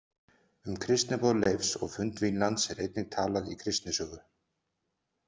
Um kristniboð Leifs og fund Vínlands er einnig talað í Kristnisögu.